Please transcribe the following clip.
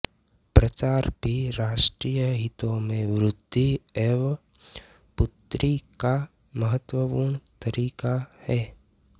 प्रचार भी राष्ट्रीय हितों में वृद्धि एवं पूर्ति का महत्त्वपूर्ण तरीका है